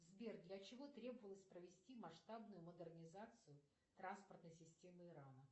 сбер для чего требовалось провести масштабную модернизацию транспортной системы ирана